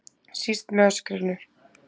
Síst með öskrinu.